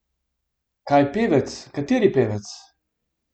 Kaj pevec, kateri pevec?